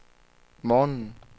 morgenen